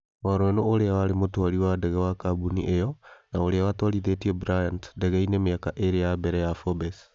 Waruenũ ũrĩa warĩ mũtwari wa ndege wa kambuni ĩyo, na ũrĩa watwarithĩtie Bryant ndege-inĩ mĩaka ĩĩrĩ ya mbere ya Forbes.